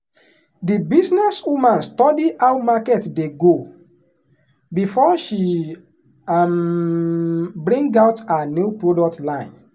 the businesswoman study how market dey go before she um bring out her new product line.